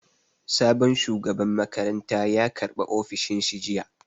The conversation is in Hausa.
Sabon shugaban makaranta ya karɓa ofishin shi jiya